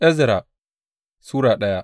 Ezra Sura daya